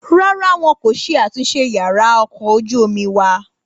Rárá wọn kò ṣe àtúnṣe yàrá ọkọ̀ ojú omi wa